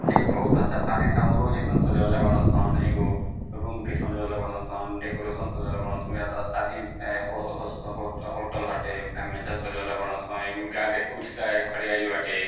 एक बहुत अच्छा शादी समारोह जैसन सजवले बाड़न सन | एगो रूम के सजवले बाड़न सन डेकोरेशन सजवले बाड़न सन | याह तो शादी हो-हो-होटल हाटे ओकरा में अच्छा से सजवले बाड़न सन | एगो गार्ड कुर्सी लगा के बाटे |